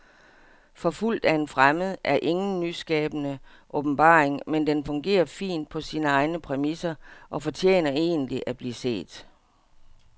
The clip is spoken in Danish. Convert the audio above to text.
Forfulgt af en fremmed er ingen nyskabende åbenbaring, men den fungerer fint på sine egne præmisser og fortjener egentlig at blive set.